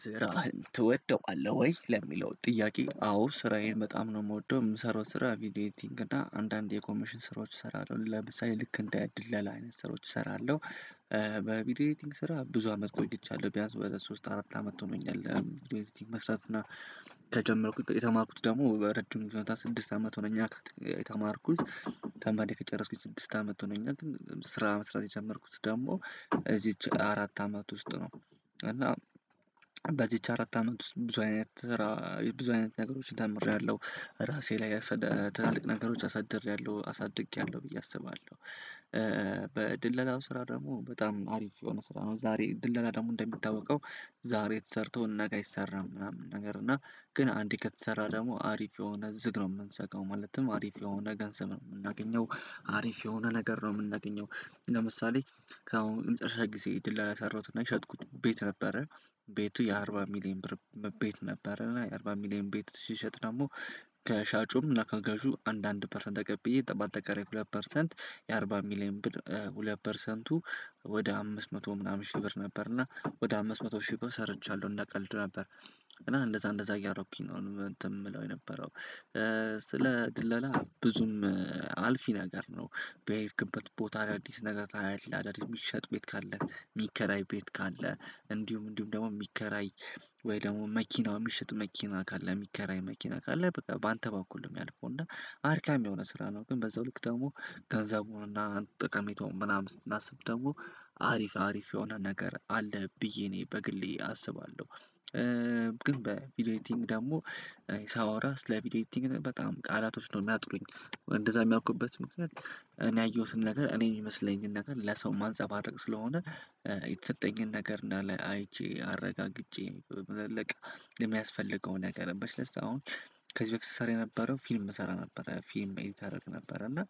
ስራህን ትወደዋለህ ወይ? ለሚለው ጥያቄ አዎ ስራዬን በጣም ነው የምወደው የምሰራው ስራ ቪዲዮ ኤዲቲንግ እና አንዳንድ የኮሚሽን ስራዎች እሰራለሁ ለምሳሌ ልክ እንደ ድለላ አይነት ስራዎች እሰራለሁ። በቪዲዮ ኤዲቲንግ ስራ ብዙ አመት ቆይቻለሁ ቢያንስ ወደ ሶስት አራት አመት ሆኖኛል። ቪዲዮ ኤዲቲንግ መስራት እና ከጀመርኩኝ የተማርኩት ደግሞ ረጅም ጊዜ ስድስት አመት ሆነኛ የተማርኩት ተምሬ ከጨረስኩኝ ስድስት አመት ሆኖኛል ስራ መስራት የጀመርኩት ደግሞ እዚች አራት አመት ውስጥ ነው። እና በዚች አራት አመት ውስጥ ብዙ አይነት ራ ብዙ አይነት ነገሮችን ተምሬያለሁ ራሴ ላይ አሳድ ትልቅ ነገሮችን አሳድሬያለሁ አሳድጌያለሁ ብዬ አስባለሁ። በድለላው ስራ ደግሞ በጣም አሪፍ የሆነ ስራ ነው። ዛሬ ድለላ ደግሞ እንደሚታወቀው ዛሬ ተሰርቶ ነገ አይሰራም ምናምን ነገር እና ግን አንድ ከተሰራ ደግሞ አሪፍ የሆነ ዝግ ነው የምንዘጋው ማለትም አሪፍ የሆነ ገንዘብ ነው የምናገኘው። አሪፍ የሆነ ነገር ነው የምናገኘው። ለምሳሌ ከአሁን መጨረሻ ጊዜ ድል ላይ የሰራሁትና የሸጥኩት ቤት ነበረ ቤቱ የአርባ ሚሊየን ብር ቤት ነበረ እና የአርባ ሚሊየን ቤት ስሸጥ ደግሞ ከሻጩም እና ከገዡ አንድ አንድ ፐርሰንት ተቀብዬ በአጠቃላይ ሁለት ፐርሰንት የአርባ ሚሊየን ብር ሁለት ፐርሰንቱ ወደ አምስት መቶ ምናምን ሺህ ብር ነበር እና ወደ አምስት መቶ ሺህ ብር ሰርቻለሁ እንደ ቀልድ ነበር። እና እንደዛ እንደዛ እያረኩኝ ነው እንትን የምለው የነበረው። ስለ ድለላ ብዙም አልፊ ነገር ነው። በሄድክበት ቦታ አዳዲስ ነገር ታያለህ አዳዲስ የሚሸጥ ቤት ካለ የሚከራይ ቤት ካለ እንዲሁም እንዲሁም ደግሞ የሚከራይ ወይ ደግሞ መኪናው የሚሸጥ መኪና ካለ የሚከራይ መኪና ካለ በቃ በአንተ በኩል ነው የሚያልፈው እና አድካሚ የሆነ ስራ ነው። ግን በዛው ልክ ደግሞ ገንዘቡንና ጠቀሜታውን ምናምን ስናስብ ደግሞ አሪፍ አሪፍ የሆነ ነገር አለ ብዬ እኔ በግሌ አስባለሁ። ግን በቪዲዮ ኤዲቲንግ ደግሞ ሳወራ ስለ ቪዲዮ ኤዲቲንግ በጣም ቃላቶች ነው የሚያጥሩኝ። እንደዛ የሚያውቁበት ምክንያት እኔ ያየሁትን ነገር እኔ የሚመስለኝን ነገር ለሰው ማንፀባረቅ ስለሆነ የተሰጠኝን ነገር እንዳለ አይቼ አረጋግጬ ለመለቀቅ የሚያስፈልገው ነገር በሽለስ አሁን ከዚህ በፊት ስሰራ የነበረው ፊልም እሰራ ነበረ ፊልም ኤዲት አደርግ ነበረ እና